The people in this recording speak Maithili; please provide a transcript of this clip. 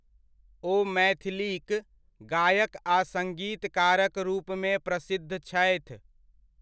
ओ मैथिलीक गायक आ सग्ङीतकारक रूपमे प्रसिद्ध छथि।